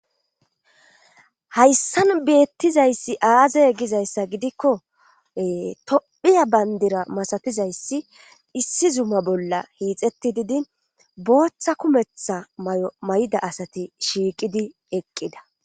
Hayssan beettizayssi aazay gizayssa gidikko tophiya bayndira masatizayssi issi zuma bolla hiixetti didin booththa kumetha may7o may7da asati shiiqidi eqqida.